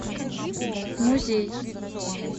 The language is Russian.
музей